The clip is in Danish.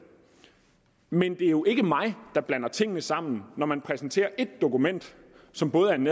men det er jo ikke mig der blander tingene sammen når man præsenterer et dokument som både er en